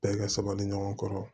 Bɛɛ ka sabali ɲɔgɔn kɔrɔ